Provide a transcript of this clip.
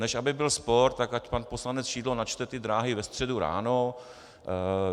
Než aby byl spor, tak ať pan poslanec Šidlo načte ty dráhy ve středu ráno.